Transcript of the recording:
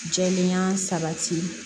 Jɛlenya sabati